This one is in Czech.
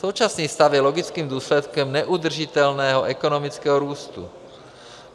Současný stav je logickým důsledkem neudržitelného ekonomického růstu.